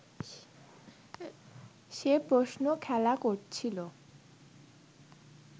সে প্রশ্ন খেলা করছিলো